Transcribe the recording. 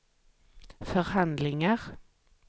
förhandlingar